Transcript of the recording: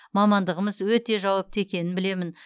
мамандығымыз өте жауапты екенін білемін